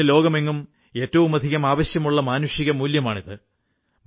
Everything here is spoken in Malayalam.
ഇന്ന് ലോകമെങ്ങും ഏറ്റവുമധികം ആവശ്യമുള്ള മാനുഷിക മൂല്യമാണിത്